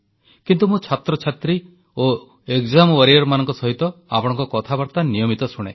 କିନ୍ତୁ ମୁଁ ଛାତ୍ରଛାତ୍ରୀ ଓ ଏକଜାମ ୱାରିଅର୍ସମାନଙ୍କ ସହିତ ଆପଣଙ୍କ କଥାବାର୍ତ୍ତା ନିୟମିତ ଶୁଣେ